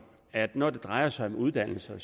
at når det drejer sig om uddannelse